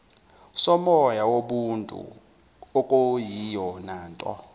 somoya wobuntu okuyiyonanto